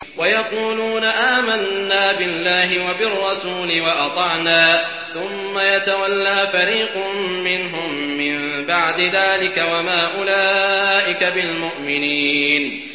وَيَقُولُونَ آمَنَّا بِاللَّهِ وَبِالرَّسُولِ وَأَطَعْنَا ثُمَّ يَتَوَلَّىٰ فَرِيقٌ مِّنْهُم مِّن بَعْدِ ذَٰلِكَ ۚ وَمَا أُولَٰئِكَ بِالْمُؤْمِنِينَ